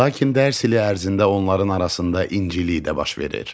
Lakin dərs ili ərzində onların arasında incilik də baş verir.